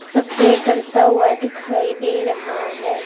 सप्रे करता हुआ दिखाई दे रहा है।